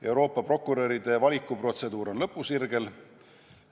Euroopa prokuröride valiku protseduur on lõpusirgel.